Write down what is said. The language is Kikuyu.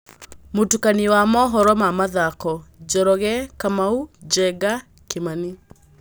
Mũtukanio wa mohoro ma mathako: Njoroge, Kamau, Njenga, Kimani.